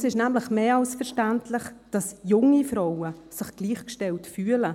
Es ist nämlich mehr als verständlich, dass sich junge Frauen gleichgestellt fühlen.